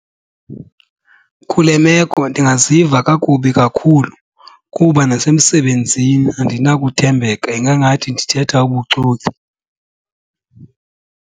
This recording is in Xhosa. Kule meko ndingaziva kakubi kakhulu kuba nasemsebenzini andinakuthembeka, ingangathi ndithetha ubuxoki.